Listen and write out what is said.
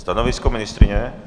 Stanovisko ministryně?